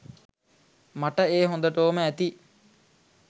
මට ඒ හොඳටෝම ඇති.